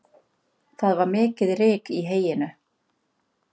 Það var mikið ryk í heyinu